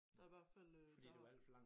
Der hvert fald øh der har